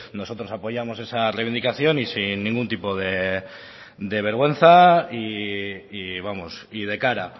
nosotros apoyamos esa reivindicación y sin ningún tipo de vergüenza y vamos y de cara